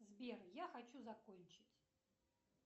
сбер я хочу закончить